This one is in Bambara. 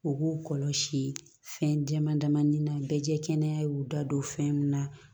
U k'u kɔlɔsi fɛn dama dama ni na bɛ jɛ kɛnɛya y'u da don fɛn min na